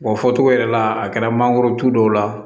Wa fɔcogo yɛrɛ la a kɛra mangorotu dɔw la